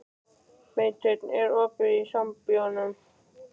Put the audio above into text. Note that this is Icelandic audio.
Beinteinn, er opið í Sambíóunum?